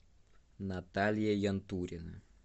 наталья янтурина